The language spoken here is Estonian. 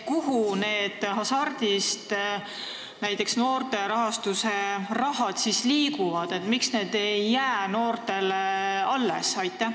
Kuhu näiteks see noorte tegevuse rahastamise raha Hasartmängumaksu Nõukogust siis liigub, miks see ei jää noortele alles?